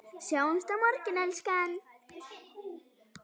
Sjáumst á morgun, elskan.